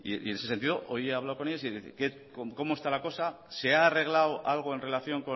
en ese sentido hoy he hablado con ellos y qué cómo está la cosa se ha arreglado algo en relación